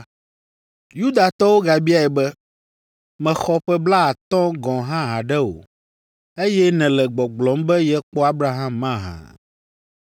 Yudatɔwo gabiae be, “Mèxɔ ƒe blaatɔ̃ gɔ̃ hã haɖe o, eye nèle gbɔgblɔm be yekpɔ Abraham mahã?”